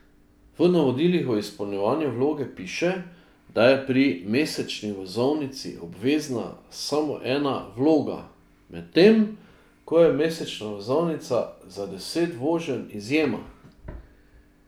V navodilih o izpolnjevanju vloge piše, da je pri mesečni vozovnici obvezna samo ena vloga, medtem ko je mesečna vozovnica za deset voženj izjema.